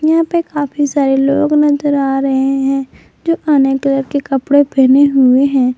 यहां पे काफी सारे लोग नजर आ रहे हैं जो अनेक कलर के कपड़े पहने हुए हैं।